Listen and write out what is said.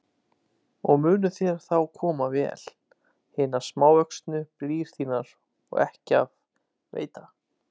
Og munu þér þá koma vel hinar samvöxnu brýr þínar og ekki af veita.